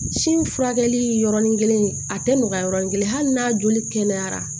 Sin furakɛli yɔrɔnin kelen a tɛ nɔgɔya yɔrɔnin kelen hali n'a joli kɛnɛyara